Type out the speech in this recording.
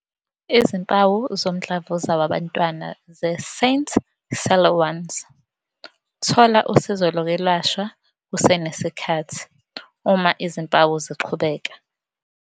Izimpawu zomdlavuza wabantwana ze-St Siluan S - Thola usizo lokwelashwa kusenesikhathi uma izimpawu ziqhubeka.